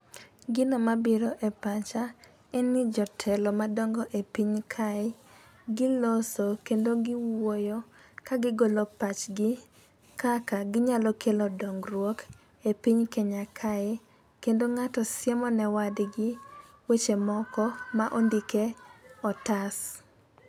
Gino mabiro e pacha en ni jotelo madongo e piny kae giloso kendo giwuoyo kagigolo pachgi kaka ginyalo kelo dongruok e piny kenya kae. Kendo ng'ato siemo ne wadgi weche moko ma ondike otas.